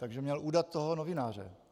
Že měl udat toho novináře?